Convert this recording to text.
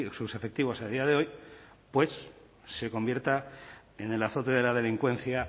sus efectivos a día de hoy pues se convierta en el azote de la delincuencia